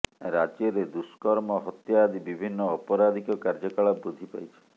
ରାଜ୍ୟରେ ଦୁର୍ଷ୍କମ ହତ୍ୟା ଆଦି ବିଭିନ୍ନ ଅପରାଧିକ କାର୍ଯ୍ୟକଳାପ ବୃଦ୍ଧି ପାଇଛି